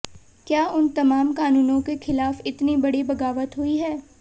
क्या उन तमाम कानूनों के ख़िलाफ़ इतनी बड़ी बग़ावत हुई है